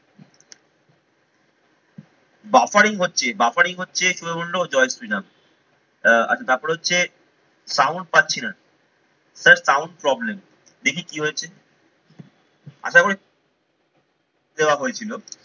buffering হচ্ছে, buffering হচ্ছে ক্রয় হল জয় শ্রী রাম। আহ আচ্ছা তারপরে হচ্ছে sound পাচ্ছি না, sir sound problem দেখি কি হয়েছে আর তারপরে দেওয়া হয়েছিলো।